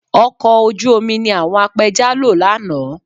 Ọkọ̀ ojú omi ni àwọn apẹja lo lánàá